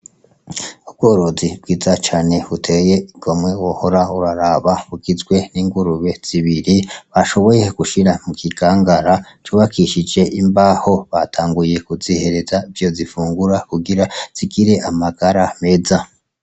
Ubworozi bwiza cane buteye igomwe wohora uraraba, bugizwe n'ingurube zibiri bashoboye gushira mu kigangara c'ubakishije imbaho. Batanguye kuzihereza ivyo zifungura kugira zigire amagara meza.